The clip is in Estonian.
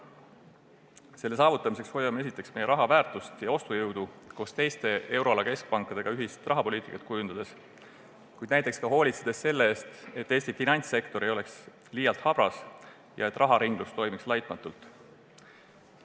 Selle saavutamiseks hoiame oma raha väärtust ja ostujõudu, kujundades koos teiste euroala keskpankadega ühist rahapoliitikat, kuid hoolitsedes ka näiteks selle eest, et Eesti finantssektor ei oleks liialt habras ja raharinglus toimiks laitmatult.